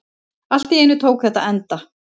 Allt í einu tók þetta enda.